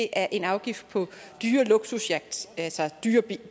er en afgift på dyre luksusyachter altså dyre